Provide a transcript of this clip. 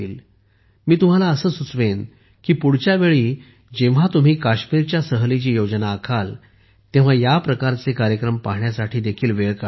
मी तुम्हाला असे सुचवेन की पुढच्या वेळी जेव्हा तुम्ही काश्मीरच्या सहलीची योजना आखाल तेव्हा या प्रकारचे कार्यक्रम पाहण्यासाठी वेळ काढा